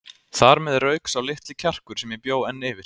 Þar með rauk sá litli kjarkur sem ég bjó enn yfir.